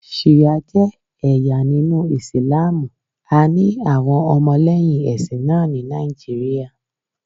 Ṣìá jẹ́ ẹ̀yà nínú Ìsìlámù, a ní àwọn ọmọlẹ́yìn ẹ̀sìn náà ni Nàìjíríà.